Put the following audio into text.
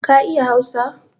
Ka iya hausa?